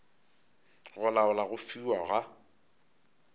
go laola go fiwa ga